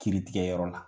Kiritigɛyɔrɔ la